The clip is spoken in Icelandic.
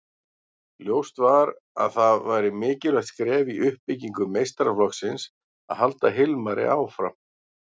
Ljóst var að það væri mikilvægt skref í uppbyggingu meistaraflokksins að halda Hilmari áfram.